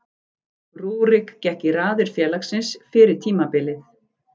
Rúrik gekk í raðir félagsins fyrir tímabilið.